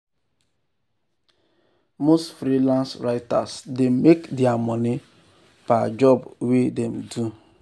most freelance writers dey make their money per job wey wey dem do.